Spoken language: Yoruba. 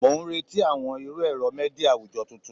Mo n reti awọn iru ẹrọ media awujọ tuntun